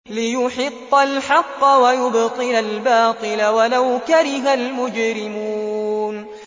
لِيُحِقَّ الْحَقَّ وَيُبْطِلَ الْبَاطِلَ وَلَوْ كَرِهَ الْمُجْرِمُونَ